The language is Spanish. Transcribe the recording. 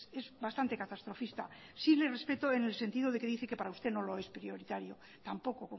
es bastante catastrofista sí le respeto en el sentido de que dice que para usted no lo es prioritario tampoco